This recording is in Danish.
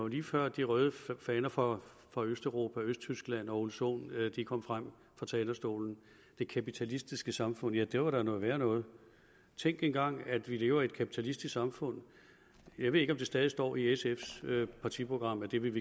lige før de røde faner fra fra østeuropa og østtyskland eller herre ole sohn kom frem på talerstolen det kapitalistiske samfund ja det var da noget værre noget tænk engang at vi lever i et kapitalistisk samfund jeg ved ikke om det stadig står i sfs partiprogram at det vil